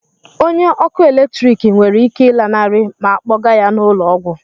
Onye ọkụ eletrik nwere ike ịlanarị ma a kpọga ya n'ụlọ ọgwụ?